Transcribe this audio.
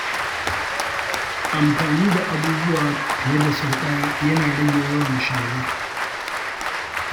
Amfani da abubuwa fiye da sau ɗaya yana rage yawan shara.